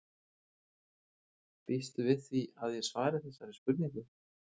Býstu við því að ég svari þessari spurningu?